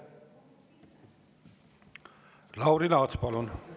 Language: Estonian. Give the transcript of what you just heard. Lauri Laats, palun!